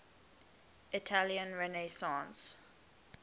italian renaissance